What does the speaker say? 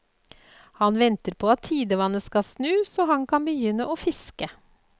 Han venter på at tidevannet skal snu så han kan begynne å fiske.